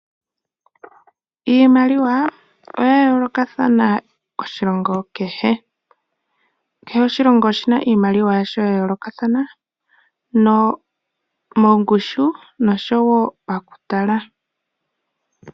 Iimaliwa oya yoolokathana oshilongo kehe. Kehe oshilongo oshi na iimaliwa yasho ya yoolokathana mongushu nosho woo pakutala.